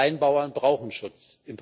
Kleinbauern brauchen Schutz.